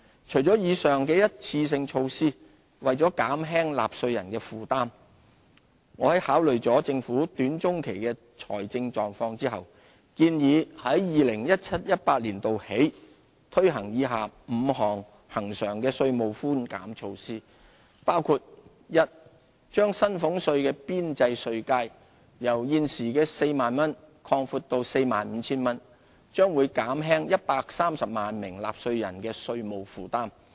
除了以上的一次性措施，為減輕納稅人的負擔，我在考慮了政府短中期的財政狀況後，建議由 2017-2018 年度起推行以下5項恆常的稅務寬減措施，包括：一把薪俸稅的邊際稅階由現時 40,000 元擴闊至 45,000 元，將減輕130萬名納稅人的稅務負擔。